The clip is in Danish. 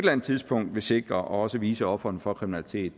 andet tidspunkt vil sikre og også vise ofrene for kriminalitet